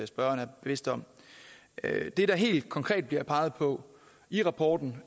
spørgeren er bevidst om det der helt konkret bliver peget på i rapporten